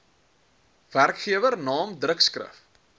werkgewer naam drukskrif